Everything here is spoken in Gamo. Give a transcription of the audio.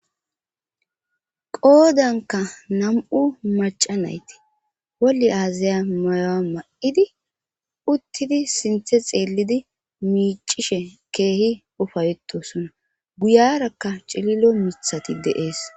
qoodanka nam7u maca nayti wolli aazaya mayoa ma7idi uttidi sinthe xeelidi miicishe keehi ufayeetosona guyarakka cililo mithati de'ees